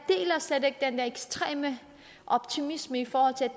slet ikke deler den der ekstreme optimisme i forhold til at